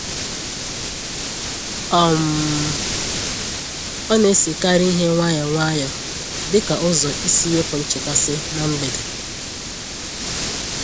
um Ọ na-esekarị ihe nwayọ nwayọ dịka ụzọ isi wepụ nchekasị na mgbede.